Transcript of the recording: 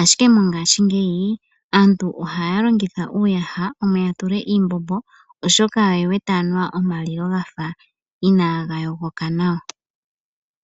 ashike mongaashingeyi aantu ohaya longitha uuyaha omo yatule iimbombo oshoka oye wete anuwa omalilo gafa inaga yogoka nawa.